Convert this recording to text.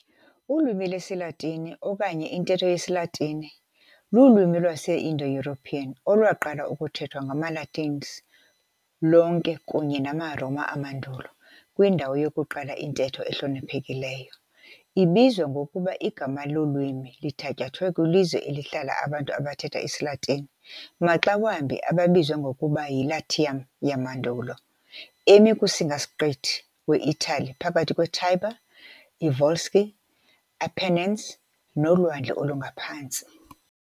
Ulwimi lwesiLatini, okanye intetho yesiLatini, lulwimi lwase-IndoEuropean olwaqala ukuthethwa ngamaLatins lonke kunye namaRoma amandulo kwindawo yokuqala intetho ehloniphekileyo, ibizwa ngokuba Igama lolwimi lithatyathwe kwilizwe elihlala abantu abathetha isiLatini, maxa wambi ababizwa ngokuba yiLatium yamandulo, emi kusingasiqithi weItali phakathi kweTiber, iVolsci, iApennines, noLwandle oluNgaphantsi.